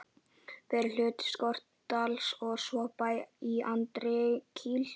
fyrir hluta Skorradals og tvo bæi í Andakíl.